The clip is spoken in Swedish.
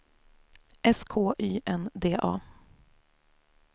S K Y N D A